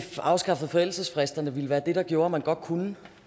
afskaffede forældelsesfristerne ville være det der gjorde at man godt kunne